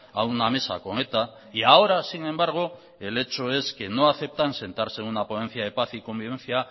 a una mesa con eta y ahora sin embargo el hecho que no aceptan sentarse en una ponencia de paz y convivencia